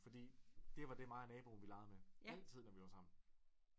Fordi det var det mig og naboen legede med altid når vi var sammen